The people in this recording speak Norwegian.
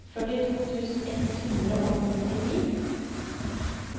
førtito tusen ett hundre og nittini